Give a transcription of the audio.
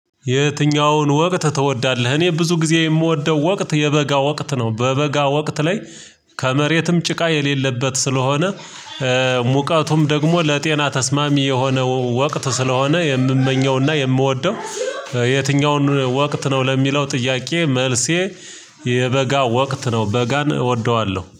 የትኛውን ወቅት ትወዳለህ? እኔ ብዙ ጊዜ የምወደው ወቅት የበጋ ወቅት ነው በበጋ ወቅት ላይ ከመሬትም ጭቃ የሌለበት ስለሆነ ሙቀቱም ደግሞ ለጤና ተስማሚ የሆነ ወቅት ስለሆነ የምመኘውና የምወደው የትኛውን ወቅት ነው ለሚለው ጥያቄ መልሴ ወቅት ነው በጋን እወደዋለሁ